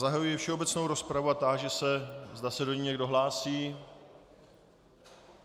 Zahajuji všeobecnou rozpravu a táži se, zda se do ní někdo hlásí.